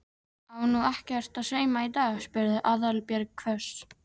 Á nú ekkert að sauma í dag? spurði Aðalbjörg hvöss.